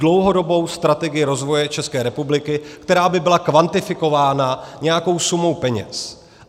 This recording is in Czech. Dlouhodobou strategii rozvoje České republiky, která by byla kvantifikována nějakou sumou peněz.